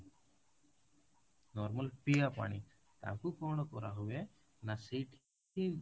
normal ପିଇବା ପାଣି ତାକୁ କଣ କରା ହୁଏ ନା ସେଇଠି